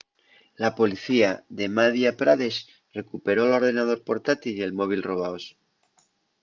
la policía de madhya pradesh recuperó l’ordenador portátil y el móvil robaos